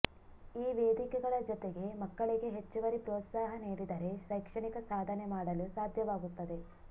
ಈ ವೇದಿಕೆಗಳ ಜತೆಗೆ ಮಕ್ಕಳಿಗೆ ಹೆಚ್ಚುವರಿ ಪ್ರೋತ್ಸಾಹ ನೀಡಿದರೆ ಶೈಕ್ಷಣಿಕ ಸಾಧನೆ ಮಾಡಲು ಸಾಧ್ಯವಾಗುತ್ತದೆ